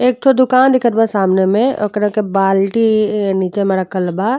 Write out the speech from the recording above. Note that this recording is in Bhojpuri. एक ठो दुकान दिखत बा सामने में। ओकरा के बाल्टी एं नीचे में रखल बा।